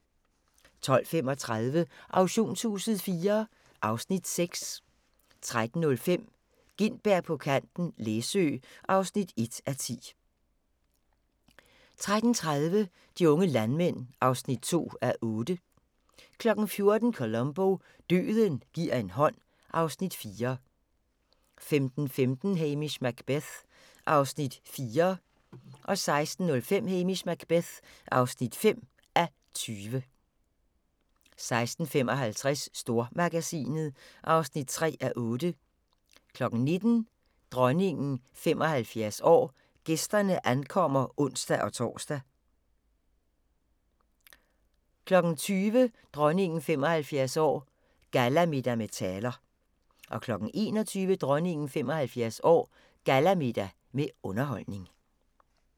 12:35: Auktionshuset IV (Afs. 6) 13:05: Gintberg på kanten - Læsø (1:10) 13:30: De unge landmænd (2:8) 14:00: Columbo: Døden gi'r en hånd (Afs. 4) 15:15: Hamish Macbeth (4:20) 16:05: Hamish Macbeth (5:20) 16:55: Stormagasinet (3:8) 19:00: Dronningen 75 år: Gæsterne ankommer (ons-tor) 20:00: Dronningen 75 år: Gallamiddag med taler 21:00: Dronningen 75 år: Gallamiddag med underholdning